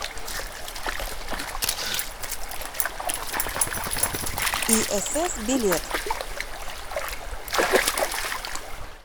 исс билет